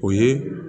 O ye